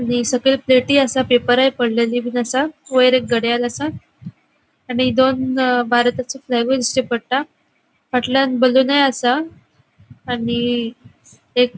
आणि सकल प्लेटी असा पेपरुई पडलेली बिन असा वयर एक घड़ियाल असा आणि दोन भारताची फ्लॅग दिश्टी पट्टा फाटल्याण बलून असा आणि एक --